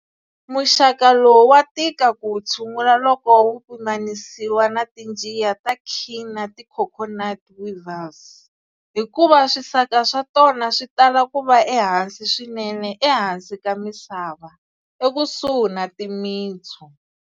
Muxaka lowu wa tika ku wu tshungula loko wu pimanisiwa na tinjiya ta king na ti coconut weevils, hikuva swisaka swa tona switala kuva ehansi swinene ehansi ka misava, ekusuhi na timintsu.